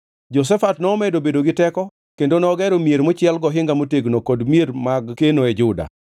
Jehoshafat nomedo bedo gi teko kendo nogero mier mochiel gohinga motegno kod mier mag keno e Juda.